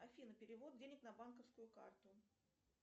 афина перевод денег на банковскую карту